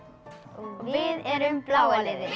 og við erum bláa liðið